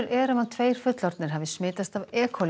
er um að tveir fullorðnir hafi smitast af e